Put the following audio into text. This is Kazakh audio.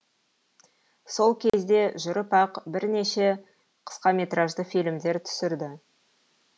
сол кезде жүріп ақ бірнеше қысқаметражді фильмдер түсірді